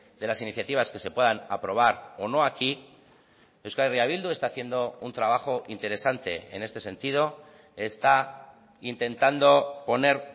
de las iniciativas que se puedan aprobar o no aquí euskal herria bildu está haciendo un trabajo interesante en este sentido está intentando poner